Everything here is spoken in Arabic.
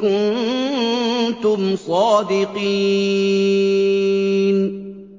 كُنتُمْ صَادِقِينَ